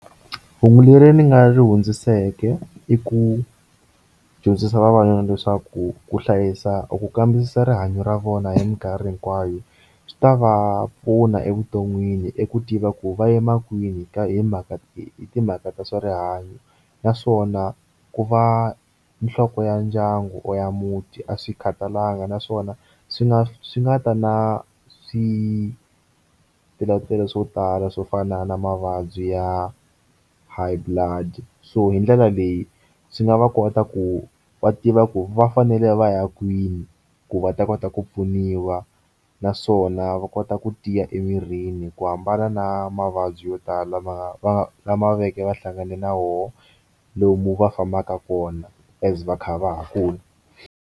Hungu leri ni nga ri hundziseke i ku dyondzisa vavanuna leswaku ku hlayisa u ku kambisisa rihanyo ra vona hi minkarhi hinkwayo swi ta va pfuna evuton'wini i ku tiva ku va yima kwini ka hi mhaka hi timhaka ta swa rihanyo naswona ku va nhloko ya ndyangu or ya muti a swi kha talanga naswona swi nga swi nga ta na switarateni swo tala swo fana na mavabyi ya high blood so hi ndlela leyi swi nga va kota ku va tiva ku va fanele va ya kwini ku va ta kota ku pfuniwa naswona va kota ku tiya emirini ku hambana na mavabyi yo tala lama va lama veke va hlangane na hoxa lomu va fambaka kona as va kha va ha kula.